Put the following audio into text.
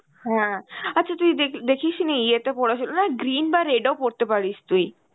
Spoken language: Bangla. হ্যাঁ. আচ্ছা তুই দেখ~ দেখিস নি ইয়েতে পরেছিল না green বা red ও পরতে পারিস তুই.